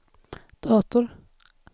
dator